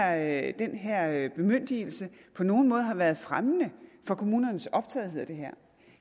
at den her bemyndigelse på nogen måde har været fremmende for kommunernes optagethed af det her